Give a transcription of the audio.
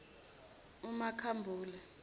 umakhambule